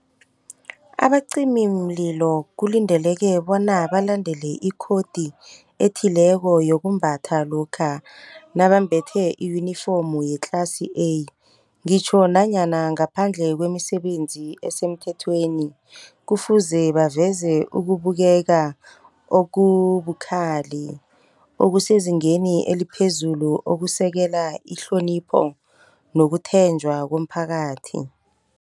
Abacimimlilo kulindeleke bona balandele ikhodi ethileko yokumbatha lokha nabambethe i-uniform ye-class A. Ngitjho nanyana ngaphandle kwemisebenzi esemthethweni, kufuze baveze ukubukeka okubukhali okusezingeni eliphezulu okusekela ihlonipho nokuthenjwa komphakathi.